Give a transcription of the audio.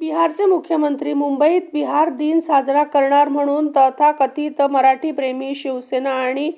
बिहारचे मुख्यमंत्री मुंबईत बिहार दिन साजरा करणार म्हणून तथाकथित मराठीप्रेमी शिवसेना आणि